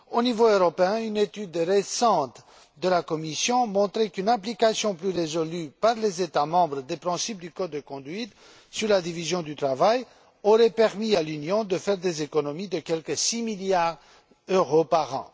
Au niveau européen, une étude récente de la Commission a montré qu'une application plus résolue, par les États membres, des principes du code de conduite sur la division du travail aurait permis à l'Union de faire des économies de quelque six milliards d'euros par an.